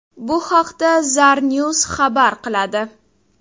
Bu haqda Zarnews xabar qiladi.